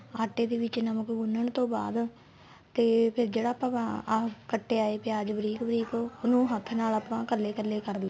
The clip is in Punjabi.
ਆਟੇ ਦੇ ਵਿੱਚ ਨਮਕ ਗੁੰਨਣ ਤੋਂ ਬਾਅਦ ਤੇ ਫੇਰ ਜਿਹੜਾ ਆਪਾਂ ਆ ਕਟਿਆ ਏ ਪਿਆਜ ਬਰੀਕ ਬਰੀਕ ਉਹਨੂੰ ਹੱਥ ਨਾਲ ਆਪਾਂ ਕੱਲੇ ਕੱਲੇ ਕਰਲੋ